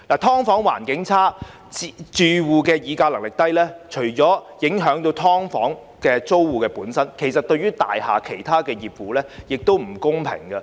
"劏房"環境差，住戶議價能力低，除影響"劏房"租戶本身，對於大廈其他業戶亦不公平。